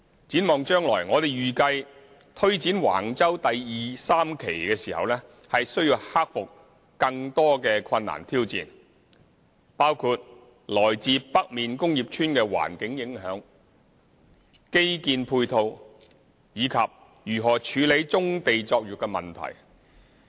展望將來，我們預計推展橫洲第2、3期時需要克服更多困難挑戰，包括來自北面工業邨的環境影響、基建配套，以及如何處理棕地作業的問題。